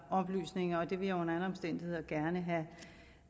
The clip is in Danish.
oplysninger det vil jeg under alle omstændigheder gerne have